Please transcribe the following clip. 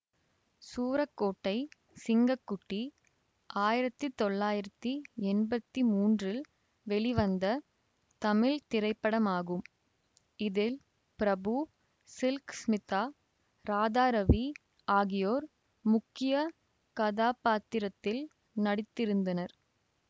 சூரக்கோட்டை சிங்க குட்டி ஆயிரத்தி தொள்ளாயிரத்தி எம்பத்தி மூன்றில் வெளிவந்த தமிழ் திரைப்படமாகும் இதில் பிரபு சில்க ஸ்மிதா ராதாரவி ஆகியோர் முக்கிய கதாப்பாத்திரத்தில் நடித்திருந்தனர்